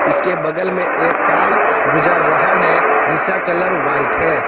इसके बगल में एक कार गुजर रहा है जिसका कलर व्हाइट है।